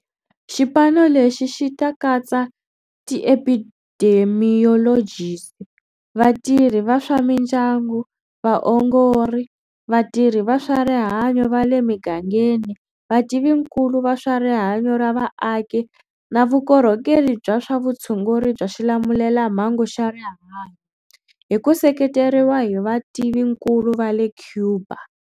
Xipano lexi xi ta katsa ti epidemiyolojisi, vatirhi va swa mindyangu, vaongori, vatirhi va swa rihanyo va le migangeni, vativinkulu va swa rihanyo ra vaaki na vukorhokeri bya swa vutshunguri bya xilamulelamhangu xa rihanyo, hi ku seketeriwa hi vativinkulu va le Cuba.